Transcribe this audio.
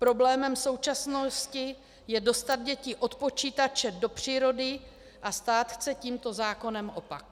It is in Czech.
Problémem současnosti je dostat děti od počítače do přírody a stát chce tímto zákonem opak.